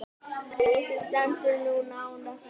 Húsið stendur nú nánast autt.